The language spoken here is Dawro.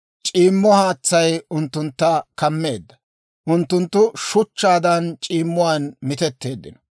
C'iimmo haatsay unttuntta kammeedda; unttunttu shuchchaadaan c'iimmuwaan mitetteeddino.